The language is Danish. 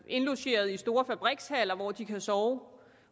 indlogeret i store fabrikshaller hvor de kan sove